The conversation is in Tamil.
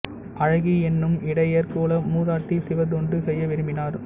அழகி என்னும் இடையர் குல மூதாட்டி சிவத்தொண்டு செய்ய விரும்பினார்